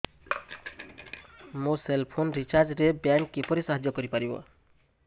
ମୋ cell phone recharge ରେ bank କିପରି ସାହାଯ୍ୟ କରିପାରିବ